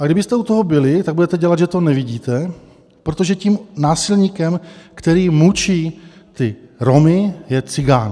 A kdybyste u toho byli, tak budete dělat, že to nevidíte, protože tím násilníkem, který mučí ty Romy, je cikán.